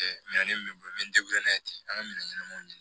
Minɛn min bɛ n bolo n bɛ n'a ye ten an ka minɛn ɲɛnamaw